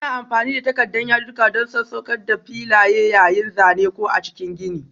Ana amfani da takarda yadudduka don sassauƙa m filaye yayin zane ko a cikin gini.